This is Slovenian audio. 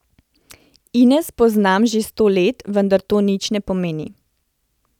Ines poznam že sto let, vendar to nič ne pomeni.